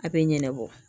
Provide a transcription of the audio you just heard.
A bɛ ɲanabɔ